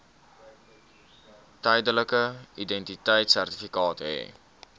tydelike identiteitsertifikaat hê